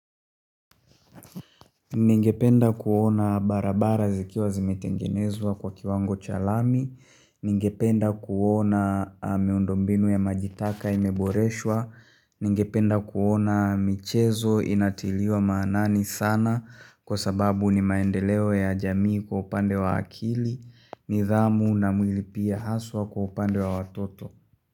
Ningependa kuona barabara zikiwa zimetengenezwa kwa kiwango chalami, ningependa kuona miundombinu ya majitaka imeboreshwa, ningependa kuona michezo inatiliwa maanani sana kwa sababu ni maendeleo ya jamii kwa upande wa akili, nidhamu na mwili pia haswa kwa upande wa watoto.